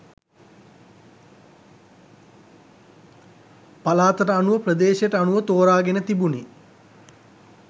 පළාතට අනුව ප්‍රදේශයට අනුව තෝරාගෙන තිබුණි